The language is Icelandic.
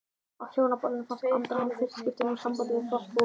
Á Hjónaballinu fannst Andra hann í fyrsta skipti ná sambandi við þorpsbúa.